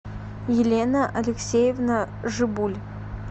елена алексеевна жибуль